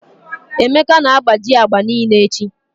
Emeka na-agbaji agba niile echi.